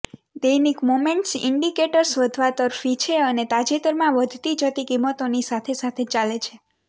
દૈનિક momentum indicators વધવા તરફી છે અને તાજેતરમાં વધતી જતી કિંમતોની સાથે સાથે ચાલે છે